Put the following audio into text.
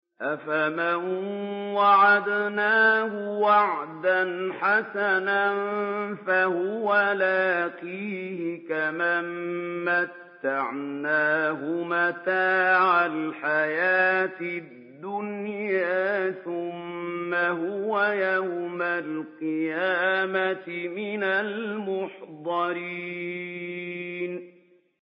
أَفَمَن وَعَدْنَاهُ وَعْدًا حَسَنًا فَهُوَ لَاقِيهِ كَمَن مَّتَّعْنَاهُ مَتَاعَ الْحَيَاةِ الدُّنْيَا ثُمَّ هُوَ يَوْمَ الْقِيَامَةِ مِنَ الْمُحْضَرِينَ